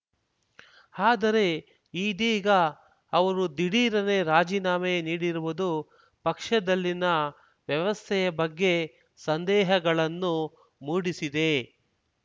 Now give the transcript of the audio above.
ಆದರೆ ಇದೀಗ ಅವರು ದಿಢೀರನೆ ರಾಜೀನಾಮೆ ನೀಡಿರುವುದು ಪಕ್ಷದಲ್ಲಿನ ವ್ಯವಸ್ಥೆಯ ಬಗ್ಗೆ ಸಂದೇಹಗಳನ್ನು ಮೂಡಿಸಿದೆ